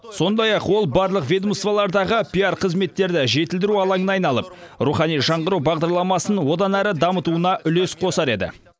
сондай ақ ол барлық ведомстволардағы пиар қызметтерді жетілдіру алаңына айналып рухани жаңғыру бағдарламасын одан ары дамытуына үлес қосар еді